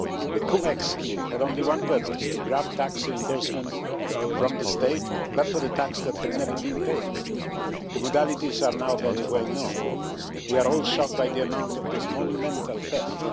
The cum ex scheme had only one purpose to grab tax reimbursement from the state but for tax that had never been paid. The modalities are now very well known. We are all shocked by the amount of this monumental theft.